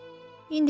Yox, ser.